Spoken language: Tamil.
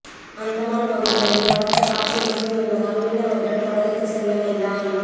அந்தமான் பகுதிகளில் பலத்த காற்று வீசும் என்பதால் மீனவர்கள் கடலுக்கு செல்ல வேண்டாம்